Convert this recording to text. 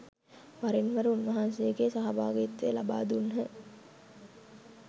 වරින්වර උන්වහන්සේගේ සහභාගිත්වය ලබාදුන්හ.